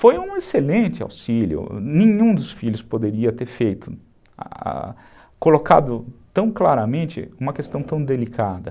Foi um excelente auxílio, nenhum dos filhos poderia ter feito, colocado tão claramente uma questão tão delicada.